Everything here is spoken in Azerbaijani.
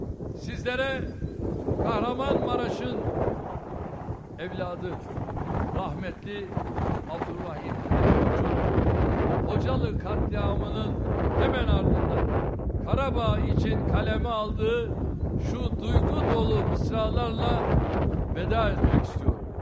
Sizlərə Qəhrəmanmaraşın övladı, rəhmətli Abdurrahim Karakoçun Xocalı qətliamının həmin ardından Qarabağ üçün qələmə aldığı şu duyğu dolu misralarla vida etmək istəyirəm.